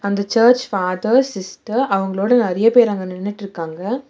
அந்த church father sister அவங்ளோட நெறைய பேர் அங்க நின்னுட்ருக்காங்க.